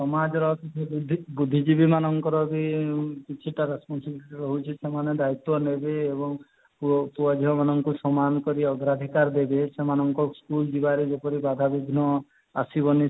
ସମାଜରେ ବୁଦ୍ଧି ବୁଦ୍ଧିଜୀବୀ ମାନଙ୍କର ବି କିଛିଟା ହଉଛି ରହୁଛି ସେମାନେ ଦାୟିତ୍ୱ ନେବେ ଏବଂ ଯଉ ପୁଅ ପୁଅ ଝିଅ ମାନକୁ ସମାନ କରି ଆଗ ଅଧିକାର ଦେବେ ସେମାନଙ୍କ school ଯିବାରେ ଯେପରି ବାଧା ବିଘ୍ନ ଆସିବନି